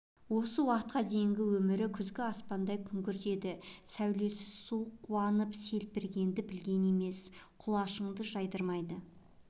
осы уақытқа дейінгі өмірі күзгі аспандай күңгірт еді сәулесіз суық қуанып серпілгенді білген емес құлашыңды жаздырмайды